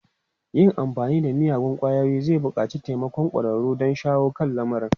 Yin amfani da miyagun ƙwayoyinta zai buƙaci taimakon ƙwararru don shawo kan lamarin.